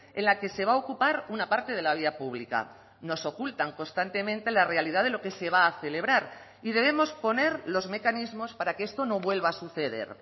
en la que se va a ocupar una parte de la vía pública nos ocultan constantemente la realidad de lo que se va a celebrar y debemos poner los mecanismos para que esto no vuelva a suceder